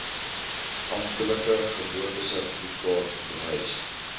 amptelike geboortesertifikaat bewys